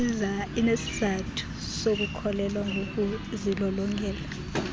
inesizathu sokukholelwa ngokuzilolongela